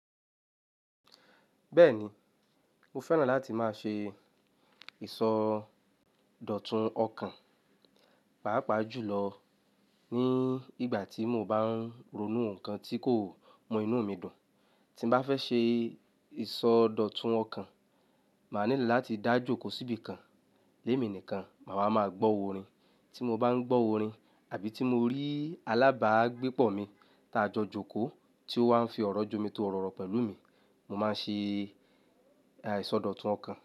Bẹ́ẹ̀ni, mo fẹ́ràn láti máa ṣe ìsọdọ̀tun ọkàn, pàápàá jùlọ ní ìgbà tí mo bá ń ronú nǹkan tí kò mọ inú mi dùn. Tí mo bá fẹ́ ṣe ìsọdọ̀tun ọkàn, màá nílò láti dá jókòó síbi kan lémi nìkan, màá máa gbọ́ orin. Tí mo bá ń gbọ́ orin àbí tí mo rí alábàágbépọ̀ mi tá a jọ jókòó tí ó wà ń fi ọ̀rọ̀ jù mi tọ́ Òrò pẹ̀lú mi, mo máa ń ṣe ìsọdọ̀tun ọkàn.